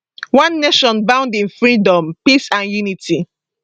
one nation bound in freedom peace and unity